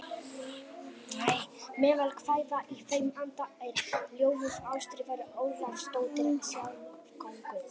Meðal kvæða í þeim anda er ljóðið Ástríður Ólafsdóttir Svíakonungs